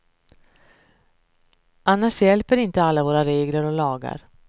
Annars hjälper inte alla våra regler och lagar.